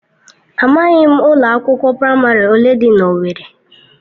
Amaghị m ụlọ akwụkwọ praịmarị ole dị na owerri.